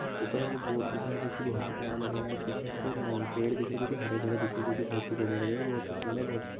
ऊपर हमको बोर्ड दिख रहा है जो बहुत ही प्यारा लग रहा है और पीछे हमको अ पेड़ दिख रहे हैं जो हरे-भरे दिख रहे हैं जो कि बहुत ही बढ़िया लग रहे हैं बहुत ही सुन्दर बहुत ह--